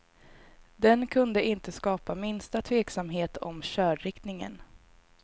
Den kunde inte skapa minsta tveksamhet om körriktningen.